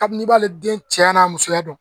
Kabini i b'ale den cɛya n'a musoya dɔn